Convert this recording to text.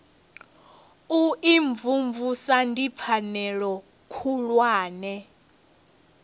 u imvumvusa ndi pfanelo khulwane